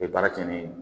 baara kɛ ni